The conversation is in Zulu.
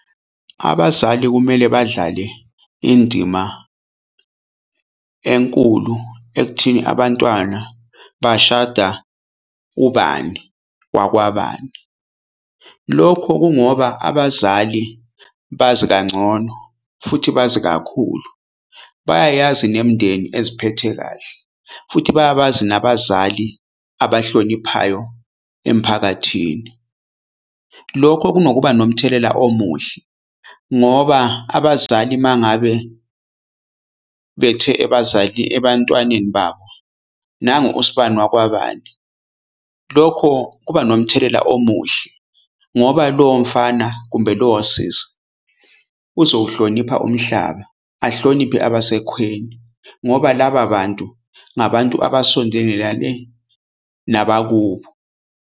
Abazali kumele badlale indima enkulu ekuthini abantwana bashada ubani wakwabani. Lokho kungoba abazali bazi kangcono futhi bazi kakhulu. Bayayazi nemindeni eziphethe kahle futhi bayabazi nabazali abahloniphayo emphakathini. Lokho kunokuba nomthelela omuhle ngoba abazali mangabe bethe ebazali ebantwaneni babo nangu us'bani wakwabani. Lokho kuba nomthelela omuhle ngoba lowo mfana kumbe lowo sisi uzowuhlonipha umhlaba. Ahloniphe abasekhweni ngoba laba bantu ngabantu abasondelane nabakubo.